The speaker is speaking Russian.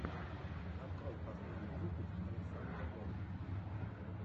открой последний выпуск александра голд